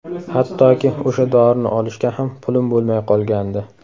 Hattoki o‘sha dorini olishga ham pulim bo‘lmay qolgandi.